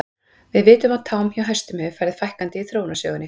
Við vitum að tám hjá hestum hefur farið fækkandi í þróunarsögunni.